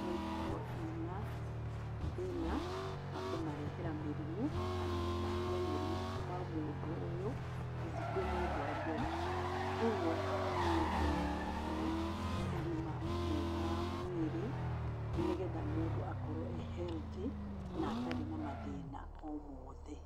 no ikorwo ina thĩĩna wa kũmarehera mĩrimũ kana gũtambia murimũ kuuma mũndũ ũyũ gũthiĩ kwĩ mũndũ ũrĩa ũngĩ. Kwoguo haha nĩ tũratambũra ũgima mwega wa mwĩrĩ nĩ getha mũndũ akorwo e healthy na atarĩ na mathĩĩna o moothe